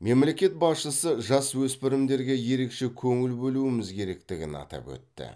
мемлекет басшысы жасөспірімдерге ерекше көңіл бөлуіміз керектігін атап өтті